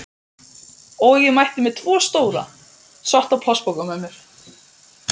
Og ég mætti með tvo stóra, svarta plastpoka með mér.